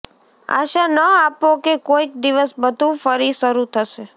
આશા ન આપો કે કોઈક દિવસ બધું ફરી શરૂ થશે